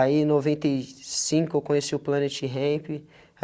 Aí, em noventa e cinco, eu conheci o Planet Hemp.